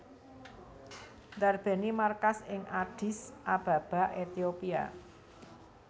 ndarbèni markas ing Addis Ababa Ethiopia